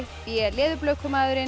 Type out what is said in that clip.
b